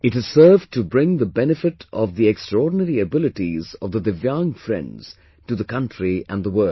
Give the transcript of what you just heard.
It has served to bring the benefit of the extraordinary abilities of the Divyang friends to the country and the world